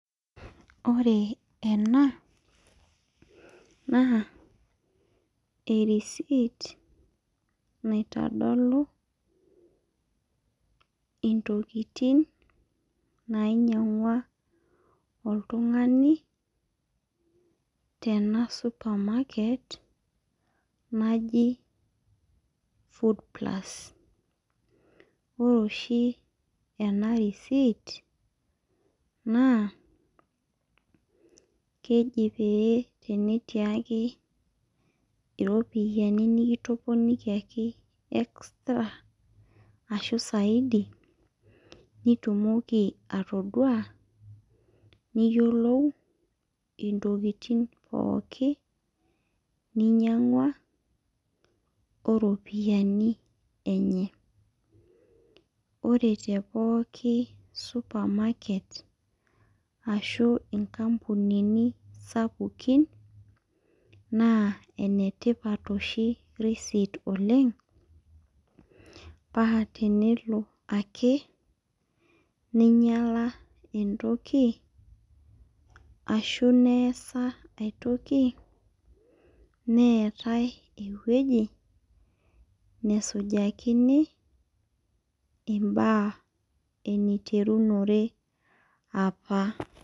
Ore ena naa erisit niatodolu intokitin nainyiang'ua oltung'ani tena supermarket naji Foodplus ore oshi ena risiit na keji pee enetii ake iropiyiani nikitoponikiaki extra ashu saidi nitumoki atoduaa niyiolou ntokitin pookin ninyiang'ua oropiyiani enye ore tepooki supermarket ashu nkampunini sapukin naa enetipat oshi risit oleng' paa tenelo ake ning'uaa entoki neetai entoki natadoyie nesujakini imbaa eniterunore apa.